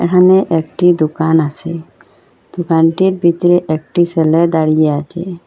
এখানে একটি দোকান আছে দোকানটির ভিতরে একটি সেলে দাঁড়িয়ে আছে।